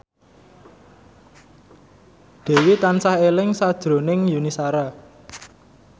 Dewi tansah eling sakjroning Yuni Shara